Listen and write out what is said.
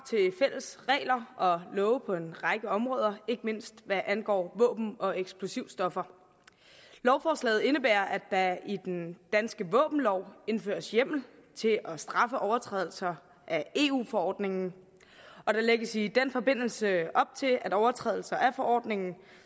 fælles regler og love på en række områder ikke mindst hvad angår våben og eksplosivstoffer lovforslaget indebærer at der i den danske våbenlov indføres hjemmel til at straffe overtrædelser af eu forordningen og der lægges i den forbindelse op til at overtrædelser af forordningen